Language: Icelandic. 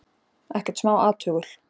Ekkert smá athugul.